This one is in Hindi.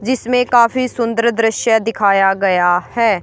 जिसमें काफी सुंदर दृश्य दिखाया गया है।